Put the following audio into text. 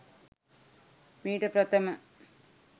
මීට ප්‍රථම